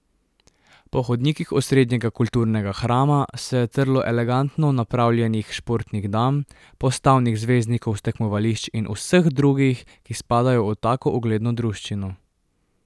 Po hodnikih osrednjega kulturnega hrama se je trlo elegantno napravljenih športnih dam, postavnih zvezdnikov s tekmovališč in vseh drugih, ki spadajo v tako ugledno druščino.